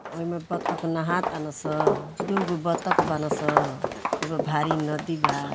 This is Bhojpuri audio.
ओ इ में बत्तख नाहातानसन दुगो बत्तख बान स खूबे भारी नदी बा --